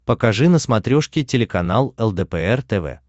покажи на смотрешке телеканал лдпр тв